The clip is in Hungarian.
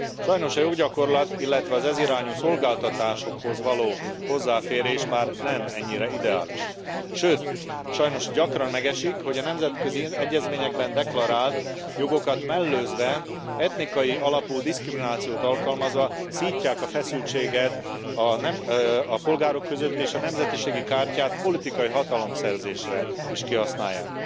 Sajnos az EU gyakorlat, illetve az ez irányú szolgáltatásokhoz való hozzáférés már nem ennyire ideális, sőt sajnos gyakran megesik, hogy a nemzetközi egyezményekben deklarált jogokat mellőzve etnikai alapú diszkriminációt alkalmazva szítják a feszültséget a polgárok között és a nemzetiségi kártyát politikai hatalom szerzésére is kihasználják.